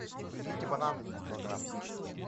привезите бананы один килограмм